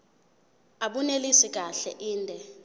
abunelisi kahle inde